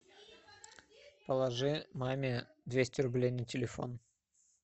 положи маме двести рублей на телефон